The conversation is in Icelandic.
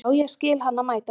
Já, ég skil hana mæta vel.